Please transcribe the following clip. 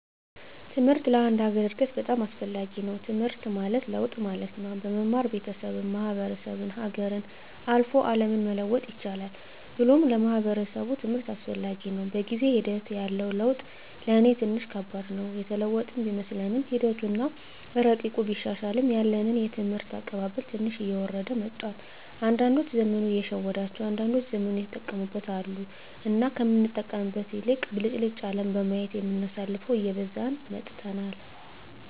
ትምሕርት ለአንድ ሀገር እድገት በጣም አስፈላጊ ነዉ። ትምሕርት ማለት ለውጥ ማለት ነው። በመማር ቤተሠብን፣ ማሕበረሰብን፣ ሀገርን፣ አልፎ አለምን መለወጥ ይቻላል ብሎም ለማሕበረሰቡ ትምህርት አስፈላጊ ነው። በጊዜ ሒደት ያለው ለውጥ ለኔ ትንሽ ከባድ ነው። የተለወጥን ቢመስለንምሒደቱ አና እረቂቁ ቢሻሻልም ያለን የትምህርት አቀባበል ትንሽ እየወረደ መጥቷል። አንዳዶች ዘመኑ የሸወዳቸው አንዳንዶች ዘመኑን የተጠቀሙበት አሉ። እና ከምንጠቀምበት ይልቅ ብልጭልጭ አለም በማየት የምናሳልፈው እየበዛን መጥተናል።